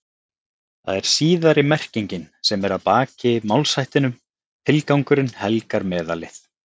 Það er síðari merkingin sem er að baki málshættinum tilgangurinn helgar meðalið.